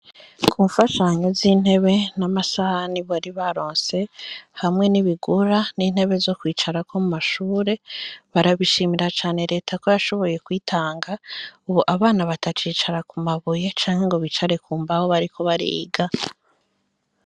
Ku mfashanyo z'intebe n'amasaha ni bo ari ba ronse hamwe n'ibigura n'intebe zo kwicarako mu mashure barabishimira cane leta ko yashoboye kwitanga ubo abana batacicara ku mabuye canke ngo bicare ku mbaho bariko bariga.